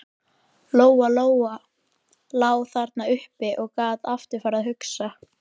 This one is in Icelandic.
Lóa Lóa lá þarna uppi og gat aftur farið að hugsa.